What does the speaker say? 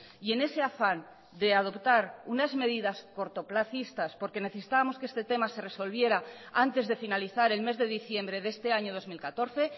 y en ese afán de adoptar unas medidas cortoplazistas porque necesitábamos que este tema se resolviera antes de finalizar el mes de diciembre de este año dos mil catorce